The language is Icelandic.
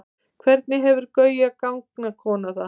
hvernig hefur gauja gangkona það